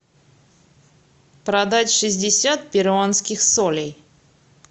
продать шестьдесят перуанских солей